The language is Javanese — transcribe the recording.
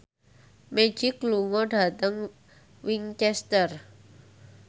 Magic lunga dhateng Winchester